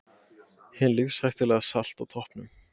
Hin lífshættulega Salt á toppnum